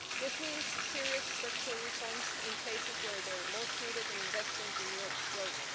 This means serious structural reforms in places where they are most needed, and investing in Europe's growth.